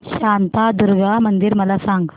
शांतादुर्गा मंदिर मला सांग